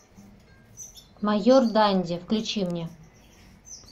майор данди включи мне